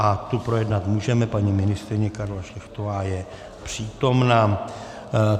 A tu projednat můžeme, paní ministryně Karla Šlechtová je přítomna.